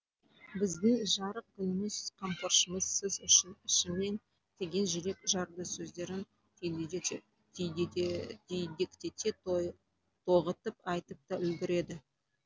біздің жарық күніміз қамқоршымыз сіз үшін ішемін деген жүрекжарды сөздерін түйдектете тоғытып айтып та үлгереді